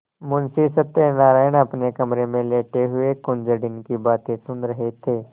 मुंशी सत्यनारायण अपने कमरे में लेटे हुए कुंजड़िन की बातें सुन रहे थे